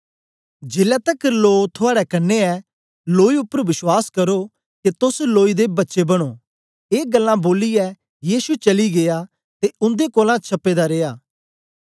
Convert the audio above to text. जेलै तकर लो थुआड़े कन्ने ऐ लोई उपर बश्वास करो के तोस लोई दे बच्चे बनों ए ग्ल्लां बोलियै यीशु चली गीया ते उंदे कोलां छपे दा रिया